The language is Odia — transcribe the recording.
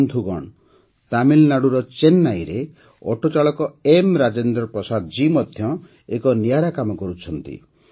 ବନ୍ଧୁଗଣ ତାମିଲନାଡୁର ଚେନ୍ନଇରେ ଅଟୋଚାଳକ ଏମ୍ ରାଜେନ୍ଦ୍ର ପ୍ରସାଦ ଜୀ ମଧ୍ୟ ଏକ ନିଆରା କାମ କରୁଛନ୍ତି